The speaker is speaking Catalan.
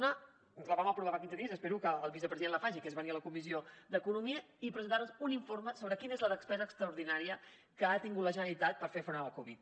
una la vam aprovar fa quinze dies i espero que el vicepresident la faci que es venir a la comissió d’economia i presentar nos un informe sobre quina és la despesa extraordinària que ha tingut la generalitat per fer front a la covid